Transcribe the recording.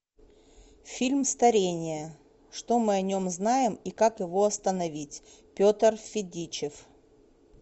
фильм старение что мы о нем знаем и как его остановить петр федичев